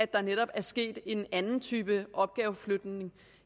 der netop er sket en anden type opgaveflytning